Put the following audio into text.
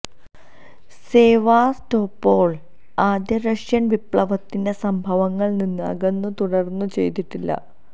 Sevastopol ആദ്യ Russian വിപ്ലവത്തിന്റെ സംഭവങ്ങൾ നിന്ന് അകന്നു തുടർന്നു ചെയ്തിട്ടില്ല